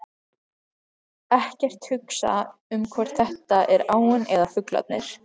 Ekkert hugsa um hvort þetta er áin eða fuglarnir.